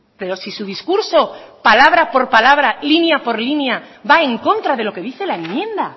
pero si su discurso palabra por palabra línea por línea va en contra de lo que dice la enmienda